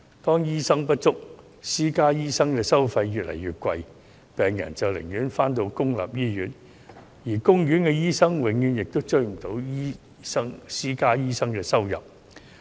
當醫生人手不足，私家醫生的收費越來越貴，病人寧願到公營醫院求醫，而公營醫院醫生收入永遠追不上私家醫生的收入。